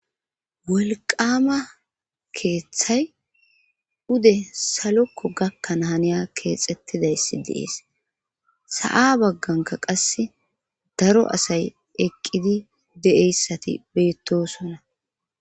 wolqama keeththay ude salokko gakkana haniya keexettidayssi deees sa7a bagganka qasse daro asay eqqidi de7eyssati beettosonna